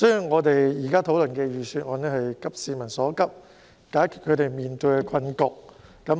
我們現時討論的財政預算案是急市民所急，解決他們面對的困局。